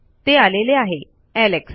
ते आलेले आहे एलेक्स